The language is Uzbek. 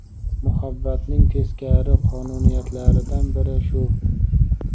Muhabbatning teskari qonuniyatlaridan biri shu.